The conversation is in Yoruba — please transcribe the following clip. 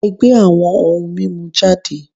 E̩gbé awo̩n oun mimu jade